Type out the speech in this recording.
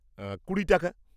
কুড়ি টাকা।